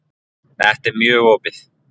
Þetta er mjög opið.